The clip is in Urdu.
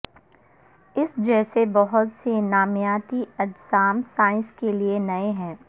اس جیسے بہت سے نامیاتی اجسام سائنس کے لیے نئے ہیں